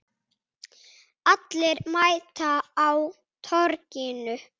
Allir mæta á Torginu